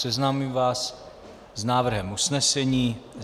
Seznámím vás s návrhem usnesení.